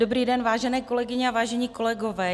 Dobrý den, vážené kolegyně a vážení kolegové.